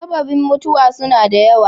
Sababen mutuwa suna da yawa.